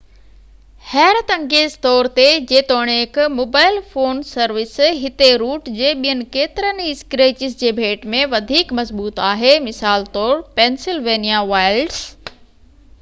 حيرت انگيز طور تي جيتوڻيڪ موبائل فون سروس هتي روٽ جي ٻين ڪيترين ئي اسڪريچز جي ڀيٽ ۾ وڌيڪ مضبوط آهي مثال طور پينسلوانيا وائلڊس